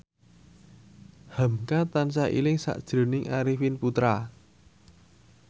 hamka tansah eling sakjroning Arifin Putra